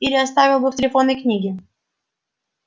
или оставил бы в телефонной книге